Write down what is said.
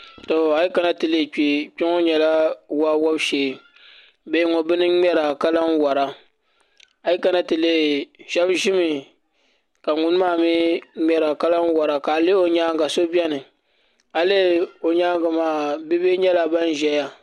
Kpɛ ŋo nyɛla waa wobu shee bihi ŋo bini n ŋmɛra ka lahi wora shab ʒimi kw ŋun maa mii ŋmɛra ka lahi wora a lihi o nyaanga so biɛni a lihi o nyaangi maa bia bihi nyɛla ban ʒɛya